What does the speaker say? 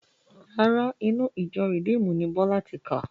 Rárá, inú ìjọ rìdíímùnù ni Bọ́lá ti kà